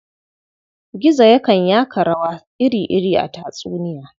Gizo yakan yaka rawa iri-iri a tatsuniya.